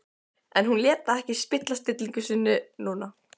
En hún lét það ekki spilla stillingu sinni núna.